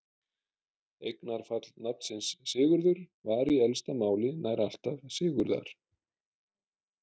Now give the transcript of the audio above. Eignarfall nafnsins Sigurður var í elsta máli nær alltaf Sigurðar.